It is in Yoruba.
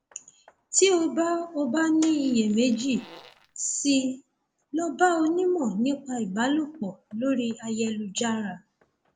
tí o bá o bá ní iyèméjì sí i lọ bá onímọ nípa ìbálòpọ lórí ayélujára